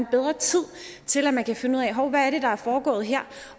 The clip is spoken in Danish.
bedre tid til at man kan finde ud af hov hvad er det der er foregået her